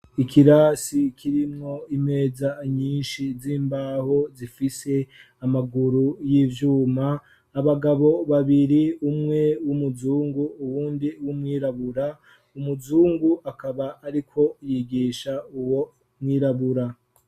Ikirasi kirimwo imeza nyinshi z'imbaho zifise amaguru y'ivyuma abagabo babiri umwe w'umuzungu uwundi w'umwirabura umuzungu akaba ariko yigisha uwo mwirabura.